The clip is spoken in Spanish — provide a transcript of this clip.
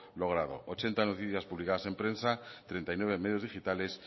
logrado ochenta noticias publicadas en prensa treinta y nueve medios digitales